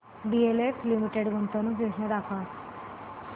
DLF limited गुंतवणूक योजना दाखव